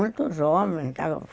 Muito jovem